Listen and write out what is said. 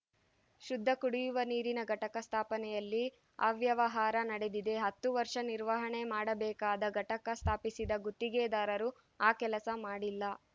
ಶುದ್ಧ ಕುಡಿಯುವ ನೀರಿನ ಘಟಕ ಸ್ಥಾಪನೆಯಲ್ಲಿ ಅವ್ಯವಹಾರ ನಡೆದಿದೆ ಹತ್ತು ವರ್ಷ ನಿರ್ವಹಣೆ ಮಾಡಬೇಕಾದ ಘಟಕ ಸ್ಥಾಪಿಸಿದ ಗುತ್ತಿಗೆದಾರರು ಆ ಕೆಲಸ ಮಾಡಿಲ್ಲ